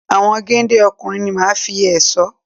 Àwọn géńdé ọkùnrin ni màá fi ẹ̀ṣọ́